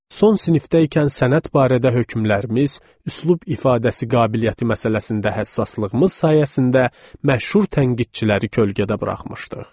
Son sinifdəykən sənət barədə hökmlərimiz, üslub ifadəsi qabiliyyəti məsələsində həssaslığımız sayəsində məşhur tənqidçiləri kölgədə buraxmışdıq.